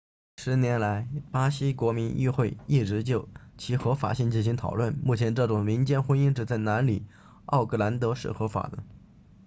10年来巴西国民议会一直就其合法性进行讨论目前这种民间婚姻只在南里奥格兰德 rio grande do sul 是合法的